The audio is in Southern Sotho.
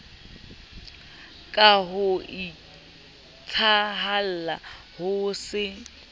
ka ho iketsahalla ho se